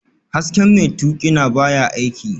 Hasken mai tuƙina baya aiki